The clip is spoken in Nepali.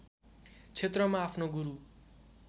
क्षेत्रमा आफ्नो गुरू